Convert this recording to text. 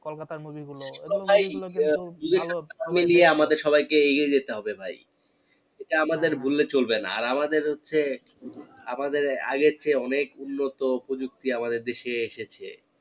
কলকাতার movie গুলো আমাদের সবাই কে এগিয়ে যেতে হবে ভাই যেটা আমাদের ভুললে চলবে না আর আমাদের হচ্ছে আমাদের আগের চেয়ে অনেক উন্নত উপযুক্তি আমাদের দেশ এ এসেছে